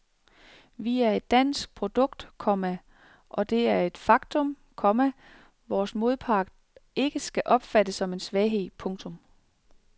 Vi er et dansk produkt, komma og det er et faktum, komma vores modpart ikke skal opfatte som en svaghed. punktum